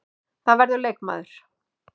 Það verður leikmaður.